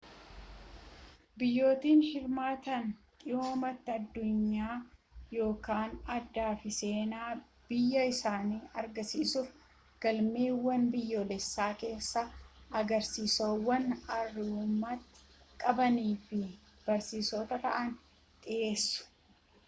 biyyootni hirmaatan dhimmoota addunyaa yookiin aadaa fi seenaa biyya isaanii agarsiisuf galmawwan biyyoolessaa keessatti agarsiisawwan aartummaa qabanii fi barsiisoo ta'an dhiheessu